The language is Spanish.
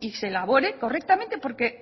y se elabore correctamente porque